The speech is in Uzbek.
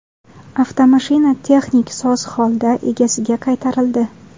Avtomashina texnik soz holda egasiga qaytarildi.